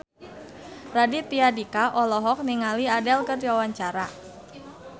Raditya Dika olohok ningali Adele keur diwawancara